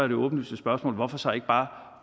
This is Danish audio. det åbenlyse spørgsmål hvorfor så ikke bare